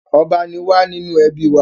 Ọba ni wá nínú ẹbí wa.